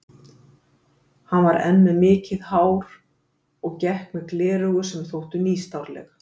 Hann var enn með mikið hár og gekk með gleraugu sem þóttu nýstárleg.